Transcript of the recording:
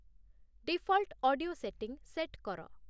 default audio setting set କର